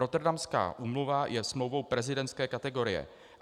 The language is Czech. Rotterdamská úmluva je smlouvou prezidentské kategorie.